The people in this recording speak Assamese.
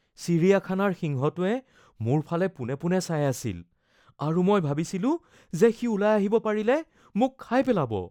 চিৰিয়াখানাৰ সিংহটোৱে মোৰ ফালে পোনে পোনে চাই আছিল আৰু মই ভাবিছিলো যে সি ওলাই আহিব পাৰিলে মোক খাই পেলাব।